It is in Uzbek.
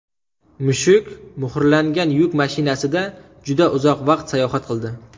Mushuk muhrlangan yuk mashinasida juda uzoq vaqt sayohat qildi.